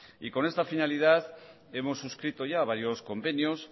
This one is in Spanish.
con esta finalidad hemos suscrito ya varios convenios